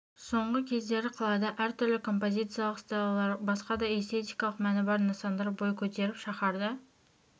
соңғы кездері қалада әр түрлі композициялық стеллалар басқа да эстетикалық мәні бар нысандар бой көтеріп шаһарды